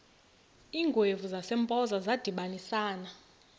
iingwevu zasempoza zadibanisana